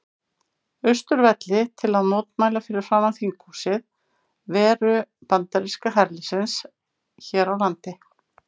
Austurvelli til að mótmæla fyrir framan þinghúsið veru bandaríska herliðsins hér á landi.